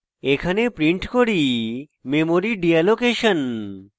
এখানে print করি memory deallocation